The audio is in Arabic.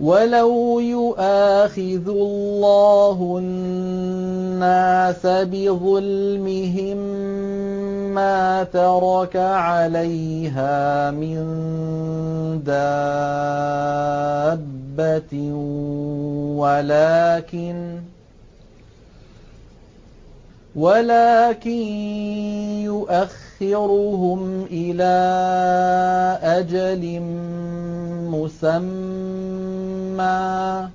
وَلَوْ يُؤَاخِذُ اللَّهُ النَّاسَ بِظُلْمِهِم مَّا تَرَكَ عَلَيْهَا مِن دَابَّةٍ وَلَٰكِن يُؤَخِّرُهُمْ إِلَىٰ أَجَلٍ مُّسَمًّى ۖ